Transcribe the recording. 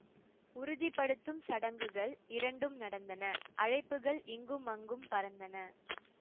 உறுதி படுத்தும் சடங்குகள் இரண்டும் நடந்தன அழைப்புகள் இங்கும் அங்கும் பறந்தன